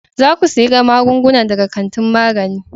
Za ku siyi magungunan daga kantin magani.